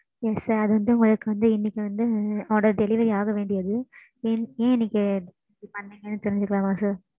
ஆஹ் ஆமாம் mam